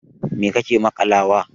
Mai kake maƙalawa wa?